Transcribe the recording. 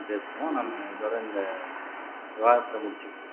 பேசுவோம் நம்ம இதோட இந்த விவாதத்தை முடிச்சுக்குவோம்